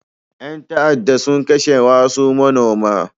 Ƴan ta'adda sun kashe wasu manoma.